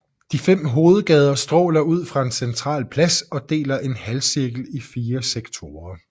De fem hovedgader stråler ud fra en central plads og deler en halvcirkel i fire sektorer